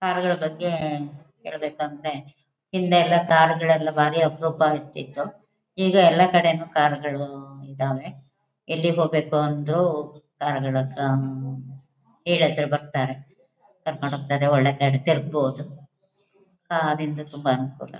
Car ಗಳ್ ಬಗ್ಗೆ ಹೇಳ್ಬೇಕು ಅಂದ್ರೆ ಹಿಂದೆ ಎಲ್ಲ ಕಾರ್ ಗಳು ತುಂಬಾ ಅಪರೂಪ ಆಗ್ತಿತ್ತು ಈಗ ಎಲ್ಲ ಕಡೆನೂ ಕಾರ್ ಗಳು ಇದಾವೆ ಎಲ್ಲಿಗೆ ಹೋಗ್ಬೇಕು ಅಂದ್ರು ಕಾರ್ ಗಳ್ ಹತ್ರ ಆಹ್ಹ್ ಹೇಳಿದ್ರೆ ಬರ್ತಾರೆ ಕರ್ಕೊಂಡು ಹೋಗ್ತಾರೆ ಒಳ್ಳೆ ಕಡೆ ತಿರ್ಗಬಹುದು ಕಾರ್ ಇಂದ ತುಂಬಾ ಅನುಕೂಲ.